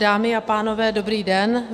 Dámy a pánové, dobrý den.